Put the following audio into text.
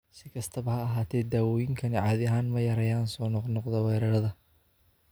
Si kastaba ha ahaatee, daawooyinkani caadi ahaan ma yareeyaan soo noqnoqda weerarada.